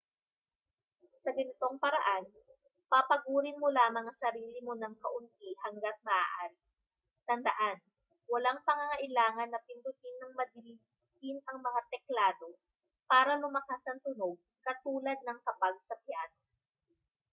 sa ganitong paraan papagurin mo lamang ang sarili mo nang kaunti hangga't maaari tandaan walang pangangailangan na pindutin nang madiin ang mga teklado para lumakas ang tunog katulad ng kapag sa piyano